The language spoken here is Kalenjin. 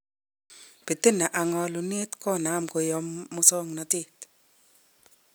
Bitina ak ngo'lunet konam koyom musoknotet.